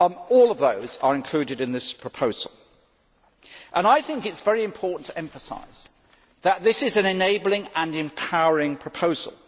All of those are included in this proposal. I think it is very important to emphasise that this is an enabling and empowering proposal.